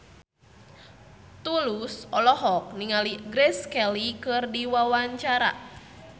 Tulus olohok ningali Grace Kelly keur diwawancara